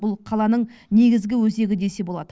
бұл қаланың негізгі өзегі десе болады